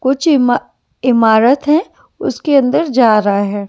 कुछ इमा इमारत है उसके अंदर जा रहा है।